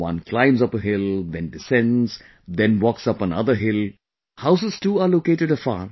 One climbs up a hill...then descends...then walk up another hill...houses too are located afar